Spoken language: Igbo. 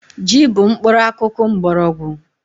Ji bụ mkpụrụakụkụ mkpọrọgwụ